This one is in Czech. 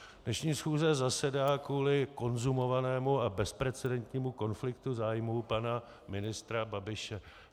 Dnešní schůze zasedá kvůli konzumovanému a bezprecedentnímu konfliktu zájmů pana ministra Babiše.